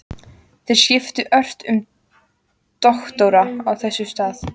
Þeir skiptu ört um doktora á þessum stað.